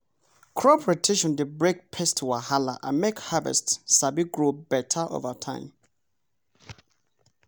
crop rotation dey break pest wahala and make harvest sabi grow better over time.